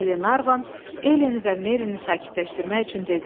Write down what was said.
Qlenarvan Eleni və Merini sakitləşdirmək üçün dedi.